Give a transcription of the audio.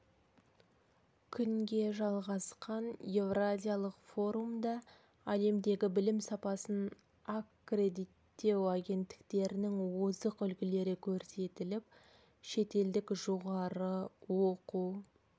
күнге жалғасқан еуразиялық форумда әлемдегі білім сапасын аккредиттеу агенттіктерінің озық үлгілері көрсетіліп шетелдік жоғары оқу